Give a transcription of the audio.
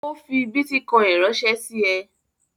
O fi bítíkọ́ìn ránṣẹ́ sí ẹ?